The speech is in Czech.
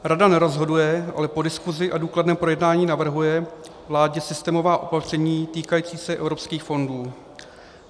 Rada nerozhoduje, ale po diskusi a důkladném projednání navrhuje vládě systémová opatření týkající se evropských fondů.